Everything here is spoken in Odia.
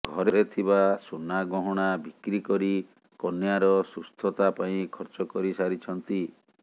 ଘରେ ଥିବା ସୁନା ଗହଣା ବିକ୍ରୀ କରି କନ୍ୟାର ସୁସ୍ଥତା ପାଇଁ ଖର୍ଚ୍ଚ କରିସାରିଛନ୍ତି